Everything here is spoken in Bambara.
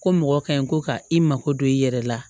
Ko mɔgɔ ka ɲi ko ka i mako don i yɛrɛ la